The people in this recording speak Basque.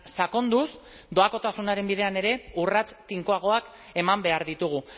sakonduz doakotasunaren bidean ere urrats tinkoagoak eman behar ditugu